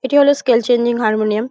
এটি হলো scale changing harmonium.